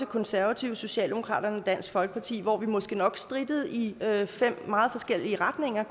konservative socialdemokratiet og dansk folkeparti hvor vi måske nok strittede i fem meget forskellige retninger